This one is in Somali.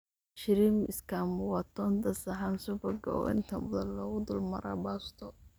Shrimp scampi waa toonta, saxan subag ah oo inta badan lagu dul maraa baasto.